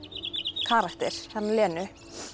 karakter hana Lenu